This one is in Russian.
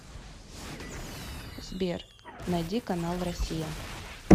сбер найди канал россия